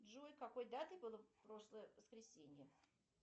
джой какой датой было прошлое воскресенье